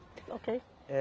Oquêi. É